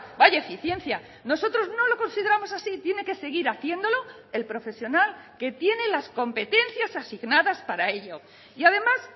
vaya eficiencia nosotros no lo consideramos así tiene que seguir haciéndolo el profesional que tiene las competencias asignadas para ello y además